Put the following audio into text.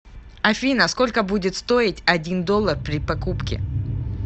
афина сколько будет стоить один доллар при покупке